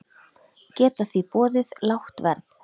Geta því boðið lágt verð.